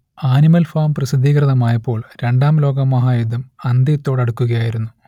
animal Farm പ്രസിദ്ധീകൃതമായപ്പോൾ രണ്ടാം ലോകമഹായുദ്ധം അന്ത്യത്തോടടുക്കുകയായിരുന്നു